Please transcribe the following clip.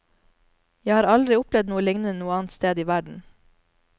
Jeg har aldri opplevd noe lignende noe annet sted i verden.